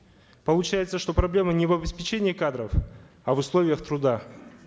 получается что проблема не в обеспечении кадров а в условиях труда